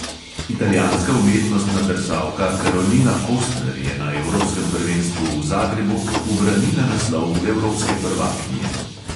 Italijanska umetnostna drsalka karolina kostner je na evropskem prvenstvu v zagrebu ubranila naslov evropske prvakinje.